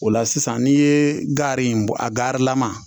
O la sisan n'i ye gari in bɔ a garilama